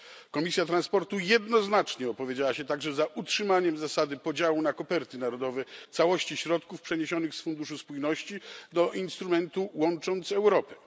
Komisja transportu jednoznacznie opowiedziała się także za utrzymaniem zasady podziału na koperty narodowe całości środków przeniesionych z funduszu spójności do instrumentu łącząc Europę.